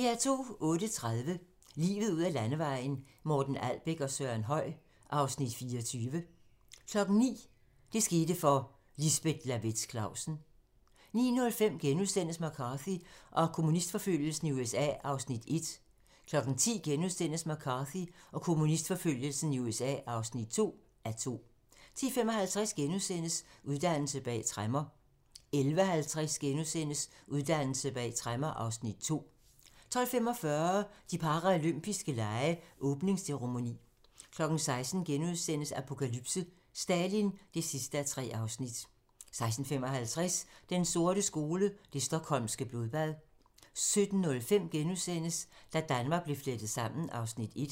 08:30: Livet ud ad landevejen: Morten Albæk og Søren Høy (Afs. 24) 09:00: Det skete for - Lisbeth Lawaetz Clausen 09:05: McCarthy og kommunistforfølgelsen i USA (1:2)* 10:00: McCarthy og kommunistforfølgelsen i USA (2:2)* 10:55: Uddannelse bag tremmer * 11:50: Uddannelse bag tremmer (Afs. 2)* 12:45: De paralympiske lege: Åbningsceremoni 16:00: Apokalypse: Stalin (3:3)* 16:55: Den sorte skole: Det Stockholmske Blodbad 17:05: Da Danmark blev flettet sammen (Afs. 1)*